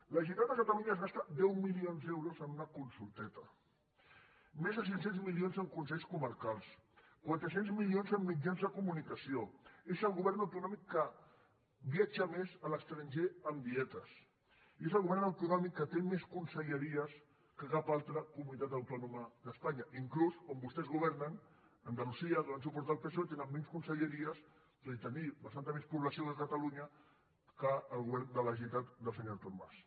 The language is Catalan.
la generalitat de catalunya es gasta deu milions d’euros en una consulteta més de cinc cents milions en consells comarcals quatre cents milions en mitjans de comunicació és el govern autonòmic que viatja més a l’estranger amb dietes i és el govern autonòmic que té més conselleries que cap altra comunitat autònoma d’espanya inclús on vostès governen a andalusia donen suport al psoe tenen menys conselleries tot i tenir bastanta més població que catalunya que el govern de la generalitat del senyor artur mas